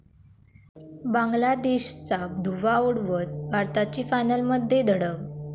बांगलादेशचा धुव्वा उडवत भारताची फायनलमध्ये धडक